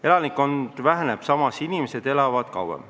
Elanikkond väheneb, samas inimesed elavad kauem.